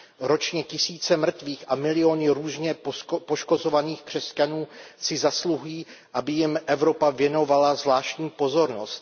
Ročně tisíce mrtvých a miliony různě poškozovaných křesťanů si zasluhují, aby jim Evropa věnovala zvláštní pozornost.